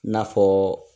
N'a fɔ